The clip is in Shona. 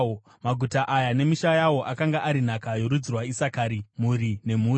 Maguta aya nemisha yawo akanga ari nhaka yorudzi rwaIsakari, mhuri nemhuri.